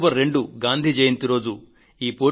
ఈ పోటీలో గెలిచిన వారికి అక్టోబర్ 2